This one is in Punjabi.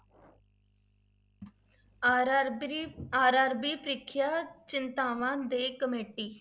RRBRRB ਪ੍ਰੀਖਿਆ ਚਿੰਤਾਵਾਂ ਤੇ committee